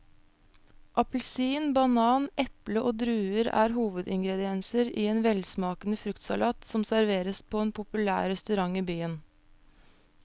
Appelsin, banan, eple og druer er hovedingredienser i en velsmakende fruktsalat som serveres på en populær restaurant i byen.